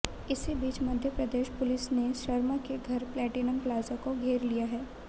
इसी बीच मध्यप्रदेश पुलिस ने शर्मा के घर प्लेटिनम प्लाजा को घेर लिया है